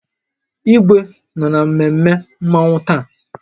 Igwe nọ na mmemme Mmanwu taa